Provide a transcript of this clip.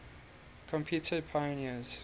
computer pioneers